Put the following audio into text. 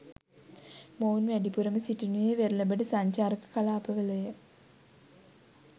මොවුන් වැඩිපුරම සිටිනුයේ වෙරළබඩ සංචාරක කලාපවලය.